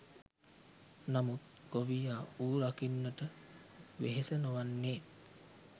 නමුත් ගොවියා ඌ රකින්නට වෙහෙස නොවන්නේ